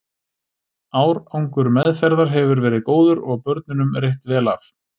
Árangur meðferðar hefur verið góður og börnunum reitt vel af.